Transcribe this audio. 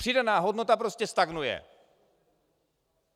Přidaná hodnota prostě stagnuje.